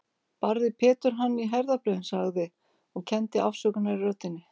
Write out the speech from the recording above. Barði Pétur hann í herðablöðin, sagði, og kenndi afsökunar í röddinni